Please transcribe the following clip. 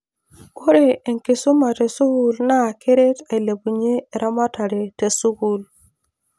Ore enkisuma te school naa keret ailepunyie eramatare te school.